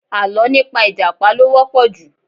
Àlọ́ nípa ìjàpá ló wọ́pọ̀ ju